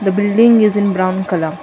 building is in brown colour.